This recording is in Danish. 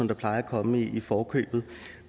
der plejer at komme i forkøbet